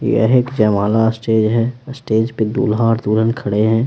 यह एक जयमाला स्टेज है स्टेज पर दूल्हा और दूल्हन खड़े हैं।